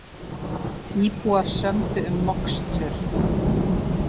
Íbúar sömdu um mokstur